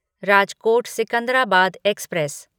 Rajkot Secunderabad express